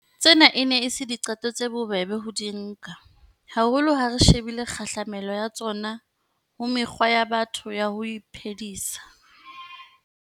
Tsena e ne e se diqeto tse bobebe ho di nka, haholo ha re shebile kgahlamelo ya tsona ho mekgwa ya batho ya ho iphedisa.